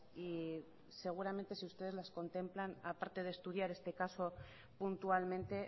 y seguramente si ustedes las contemplan a parte de estudiar este caso puntualmente